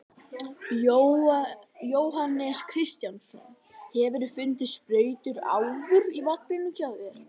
Jóhannes Kristjánsson: Hefurðu fundið sprautur áður í vagninum hjá þér?